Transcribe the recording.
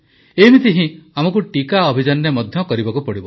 ଏମିତି ହିଁ ଆମକୁ ଟିକା ଅଭିଯାନରେ ମଧ୍ୟ କରିବାକୁ ପଡ଼ିବ